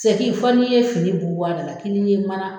Sɛki fɔ n'i ye fini bunbun a dala fɔ n'i ye mana